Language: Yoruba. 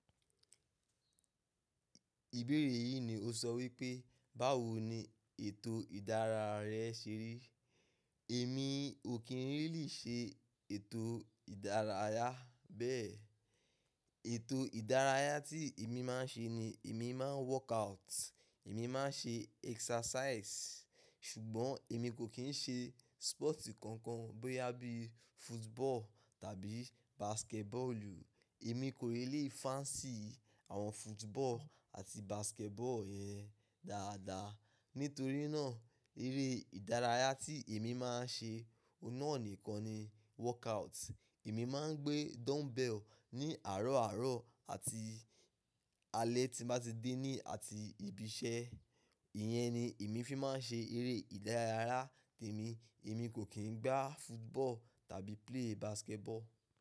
Ìbéèrè yìí ni o sọ wípé, báwo ni ètò ìdárayá rẹ ṣe rí? Èmi ò kí n really ṣe ètò ìdárayá bẹ́ẹ̀. Ètò ìdárayá tí èmi máa ń ṣe ni èmi máa ń workout, èmi máa ń ṣe exercise. Ṣùgbọ́n èmi kò kí ń ṣe sport kankan bóyá bí football tàbí basketball. Èmi kò lè fancy àwọn football àti basketball yẹn dáadáa. Nítorí náà eré ìdárayá tí èmi máa ń ṣe, ọ̀ún nà nìkan ni workout. Èmi máa ń gbé dumbbell ní àárọ̀ àárọ̀ àti alẹ́ tí mo bá ti dé ní àti ibi iṣẹ́. Ìyẹn ni èmi fi máa ń ṣe eré ìdárayá tèmi. Èmi kò kí ń gbá football tàbí play basketball.